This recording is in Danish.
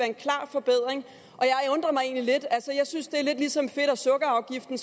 en klar forbedring og lidt altså jeg synes det er lidt ligesom med fedt og sukkerafgiften